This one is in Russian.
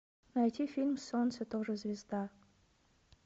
найти фильм солнце тоже звезда